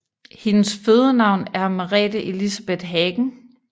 Hendes fødenavn er Merete Elisabeth Hagen